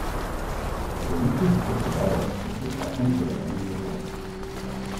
V koaliciji sicer poudarjajo, da so v zakon vgrajene varovalke.